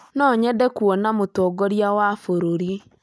No nyende kuona Mũtongoria wa bũrũri